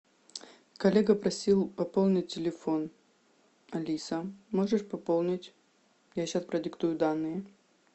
коллега просил пополнить телефон алиса можешь пополнить я сейчас продиктую данные